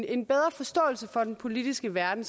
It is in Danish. en bedre forståelse for den politiske verden